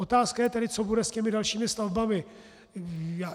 Otázka je tedy, co bude s těmi dalšími stavbami.